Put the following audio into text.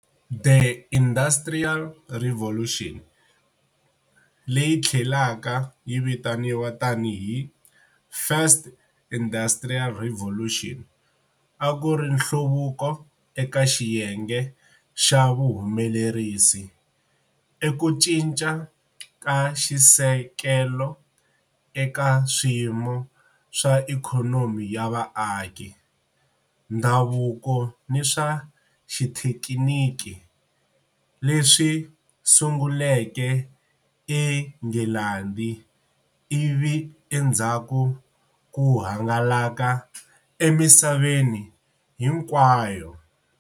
The Industrial Revolution, leyi tlhelaka yi tiviwa tani hi First Industrial Revolution, a ku ri nhluvuko eka xiyenge xa vuhumelerisi, i ku cinca ka xisekelo eka swiyimo swa ikhonomi ya vaaki, ndhavuko ni swa xithekiniki, leswi sunguleke eNghilandhi ivi endzhaku ku hangalaka emisaveni hinkwayo.